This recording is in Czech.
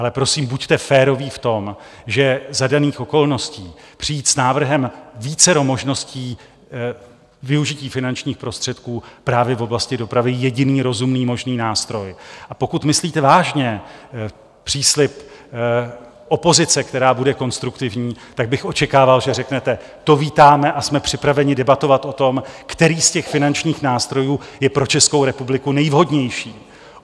Ale prosím, buďte férový v tom, že za daných okolností přijít s návrhem vícero možností využití finančních prostředků právě v oblasti dopravy, jediný rozumný možný nástroj, a pokud myslíte vážně příslib opozice, která bude konstruktivní, tak bych očekával, že řeknete: to vítáme a jsme připraveni debatovat o tom, který z těch finančních nástrojů je pro Českou republiku nejvhodnější.